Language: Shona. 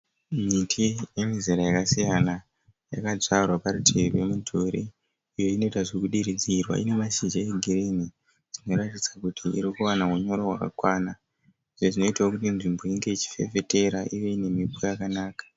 Miti yemizera yakasiyana. Yakadyarwa parutivi pemudhuri iyo inoita zvekudiridzirwa. Ine mashizha egirinhi zvinoratidza kuti irikuwana unyoro hwakakwana izvo zvinoitawo kuti nzvimbo inge ichifefetera ine mhepo yakanaka.